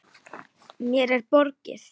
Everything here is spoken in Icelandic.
Mér er borgið.